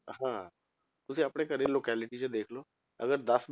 ਹਾਂ ਤੁਸੀਂ ਆਪਣੇ ਘਰੇ locality 'ਚ ਦੇਖ ਲਓ ਅਗਰ ਦਸ